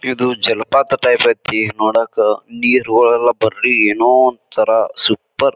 ಇದು ಜಲಪಾತ ಟೈಪ್ ಐತಿ ನೋಡಾಕ. ನೀರು ಎಲ್ಲ ಬರ್ರಿ ಏನೋ ಒಂತರ ಸೂಪರ್ .